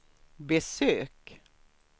besök